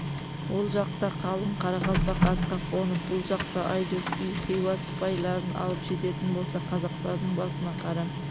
ол жақта қалың қарақалпақ атқа қонып бұл жақта айдос би хиуа сыпайларын алып жететін болса қазақтардың басына қара